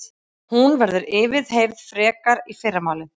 Hún verður yfirheyrð frekar í fyrramálið